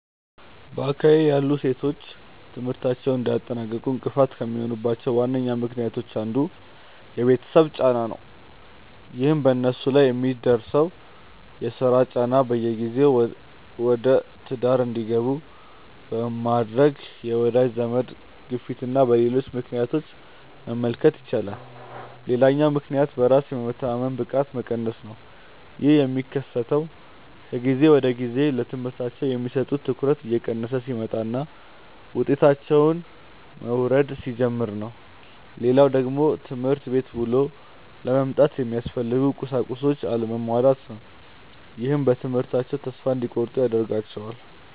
በአካባቢዬ ያሉ ሴቶች ትምህርታቸውን እንዳያጠናቅቁ እንቅፋት ከሚሆኑባቸው ዋነኛ ምክንያቶች አንዱ የቤተሰብ ጫና ነው። ይህንንም በነሱ ላይ በሚደርሰው የስራ ጫና፣ በጊዜ ወደትዳር እንዲገቡ በሚደረግ የወዳጅ ዘመድ ግፊትና በሌሎች ምክንያቶች መመልከት ይቻላል። ሌላኛው ምክንያት በራስ የመተማመን ብቃት መቀነስ ነው። ይህ የሚከሰተው ከጊዜ ወደጊዜ ለትምህርታቸው የሚሰጡት ትኩረት እየቀነሰ ሲመጣና ውጤታቸውም መውረድ ሲጀምር ነው። ሌላው ደግሞ ትምህርት ቤት ውሎ ለመምጣት የሚያስፈልጉ ቁሳቁሶች አለመሟላት ነው። ይህም በትምህርታቸው ተስፋ እንዲቆርጡ ያደርጋቸዋል።